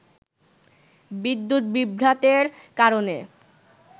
বিদ্যুৎ বিভ্রাটের কারণে